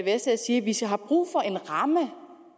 vi selv har brug for en ramme